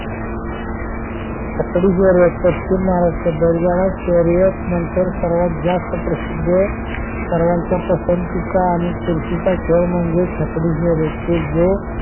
छकडी शर्यत पश्चिम महाराष्ट्रात बैलगाडा शर्यत नंतर सर्वात जास्त प्रसिद्ध सर्वांच्या पसंतीचा आणि चुरशीचा खेळ म्हणजे छकडी शर्यत कि जो